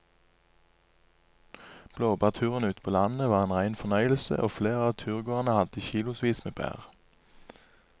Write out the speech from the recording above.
Blåbærturen ute på landet var en rein fornøyelse og flere av turgåerene hadde kilosvis med bær.